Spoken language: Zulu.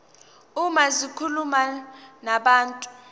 uma zikhuluma nabantu